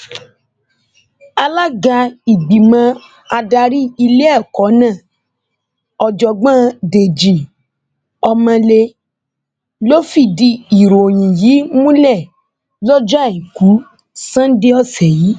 alága ìgbìmọ adarí iléẹkọ náà ọjọgbọn dèjì ọmọlé ló fìdí ìròyìn yìí múlẹ lọjọ àìkú sannda ọsẹ yìí